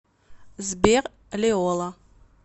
сбер лиола